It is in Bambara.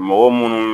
Mɔgɔ munnu